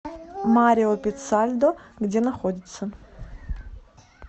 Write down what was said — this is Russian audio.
марио пиццальдо где находится